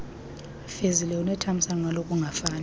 fezile unethamsanqa lokungafani